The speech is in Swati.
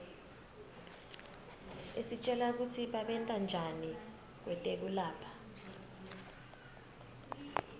isitjela kutsi babentanjani kwetekulapha